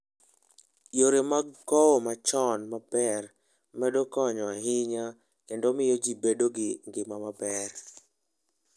Yore mag kowo mochan maber medo konyo ahinya kendo miyo ji bedo gi ngima maber.